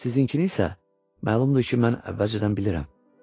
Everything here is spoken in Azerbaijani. Sizinkini isə, məlumdur ki, mən əvvəlcədən bilirəm.